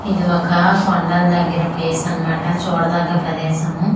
ఇది ఒక కొండల దగ్గర ప్లేస్ అనమాట చూడదగ్గ ప్రదేశము.